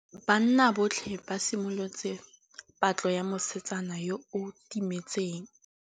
Banna botlhê ba simolotse patlô ya mosetsana yo o timetseng.